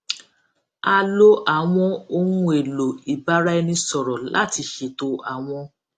a lo àwọn ohunèlò ìbáraẹnisọrọ láti ṣètò àwọn